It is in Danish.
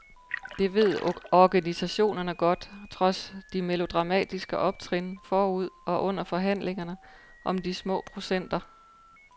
Det ved organisationerne godt, trods de melodramatiske optrin forud og under forhandlingerne om de små procenter.